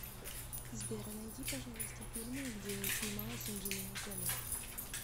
сбер а найди пожалуйста фильмы где снималась анджелина джоли